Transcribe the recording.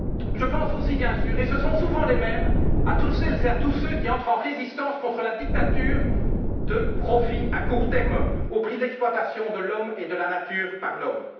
Je pense aussi, bien sûr, et ce sont souvent les mêmes, à toutes celles et à tous ceux qui entrent en résistance contre la dictature du profit à court terme au prix de l'exploitation de l'homme et de la nature par l'homme.